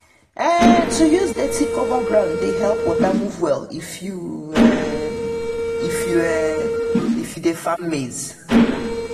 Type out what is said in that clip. to um use dirty cover ground dey help water move well if you um if you um dey farm maize.